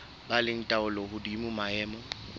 ba le taolo hodima maemo